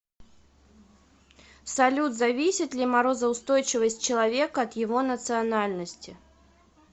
салют зависит ли морозоустойчивость человека от его национальности